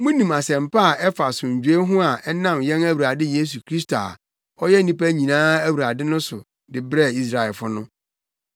Munim asɛmpa a ɛfa asomdwoe ho a ɛnam yɛn Awurade Yesu Kristo a ɔyɛ nnipa nyinaa Awurade no so de brɛɛ Israelfo no.